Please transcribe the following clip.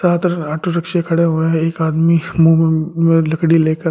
ज्यादा तरह ऑटो रिक्शे खड़े हुए एक आदमी मुंह में लकड़ी लेकर।